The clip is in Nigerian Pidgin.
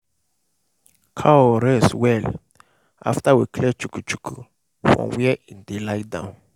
cow rest well after we clear chuku-chuku from where e dey lie down.